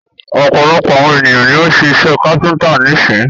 Ọ̀pọ̀lọpọ̀ àwon ènìyàn ni o ń́ ṣe iṣẹ káfíńńtà nísin.